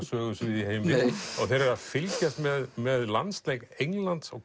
sögusvið í heimi þeir eru að fylgjast með með landsleik Englands og